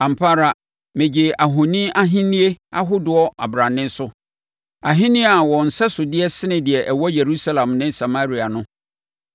Ampa ara, megyee ahoni ahennie ahodoɔ abrane soɔ, ahennie a wɔn nsɛsodeɛ sene deɛ ɛwɔ Yerusalem ne Samaria no.